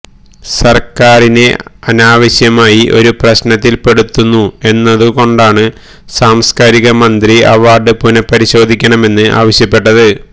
സർക്കാരിനെ അനാവശ്യമായി ഒരു പ്രശ്നത്തിൽപെടുത്തുന്നു എന്നതു കൊണ്ടാണ് സാംസ്കാരിക മന്ത്രി അവാർഡ് പുനഃപരിശോധിക്കണമെന്ന് ആവശ്യപ്പെട്ടത്